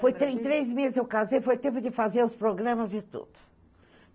Foi três meses eu casei, foi tempo de fazer os programas e tudo.